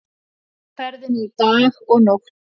Á ferðinni í dag og nótt